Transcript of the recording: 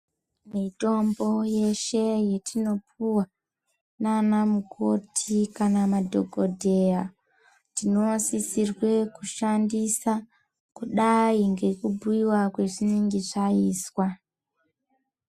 Mitombo yeshe yetinopuwa nanamukoti kanamadhokodheya tinosisirwe kushandisa kudayi ngekubhuyiwa kwazvinenge zvaizwa.